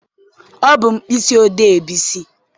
Ọ bụ mkpịsị odee Bisi.